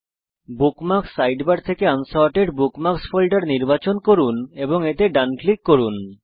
bookmarks sidebar থেকে unsorted bookmarks folder নির্বাচন করুন এবং এতে ডান ক্লিক করুন